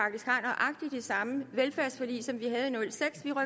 nej samme velfærdsforlig som vi er